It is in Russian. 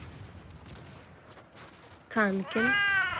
канкин